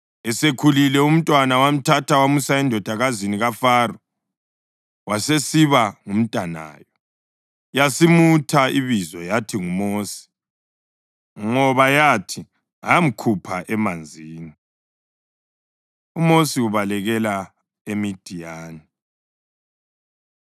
Esekhulile umntwana, wamthatha wamusa endodakazini kaFaro wasesiba ngumntanayo. Yasimutha ibizo yathi nguMosi ngoba yathi, “Ngamkhupha emanzini.” UMosi Ubalekela EMidiyani